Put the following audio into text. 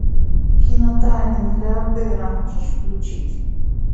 кино тайны миллиардера можешь включить